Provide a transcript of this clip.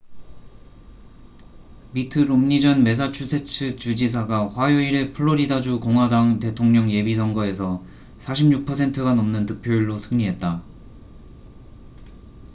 미트 롬니 전 매사추세츠 주지사가 화요일에 플로리다주 공화당 대통령 예비선거에서 46%가 넘는 득표율로 승리했다